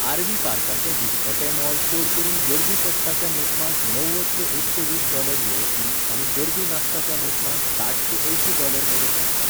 RV. पार्काचें दिसपटें मोल चड करून गर्दी पडटा त्या मोसमांत णव्वद ते एकशे वीस डॉलर यु एस डी आनी गर्दी नासता त्या मोसमांत साठ ते अंयशीं डॉलर मेरेन आसता.